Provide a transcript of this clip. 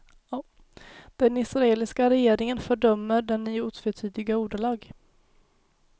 Den israeliska regeringen fördömer den i otvetydiga ordalag.